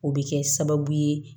O bɛ kɛ sababu ye